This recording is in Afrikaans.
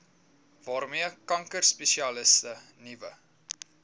waarmee kankerspesialiste nuwe